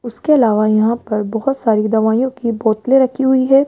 उसके अलावा यहां पर बहोत सारी दवाईयों की बोतलें रखी हुई है।